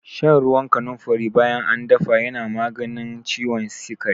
Shan ruwan kanunfari bayan an dafa yana maganin ciwon sikari.